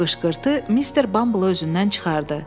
Bu qışqırtı mister Bamble özündən çıxartdı.